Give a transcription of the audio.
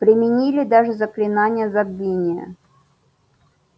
применили даже заклинание забвения